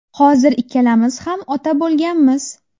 Hozir ikkalamiz ham ota bo‘lganmiz.